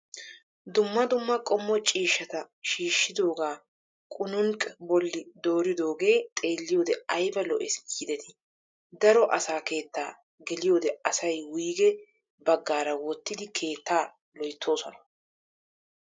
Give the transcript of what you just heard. Dumma dummaqommo ciishata shiishidooga qunuunq bolli dooridooge xeelliyoode ayibaa lo''es giideti. Daro asaa keettaa geliyoode asayi wuyigee baggaara wottidi keettaa loyttoosona.